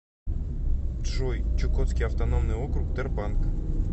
джой чукотский автономный округ тербанк